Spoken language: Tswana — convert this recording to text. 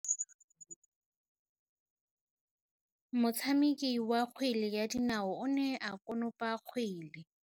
Motshameki wa kgwele ya dinaô o ne a konopa kgwele.